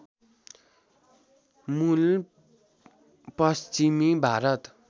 मूल पश्चिमी भारत